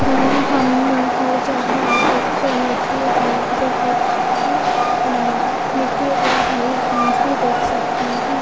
चित्र मे हम हर जगह एक मिट्टी ओ बहुत सी मिट्टी और हरी घास भी देख सकते है।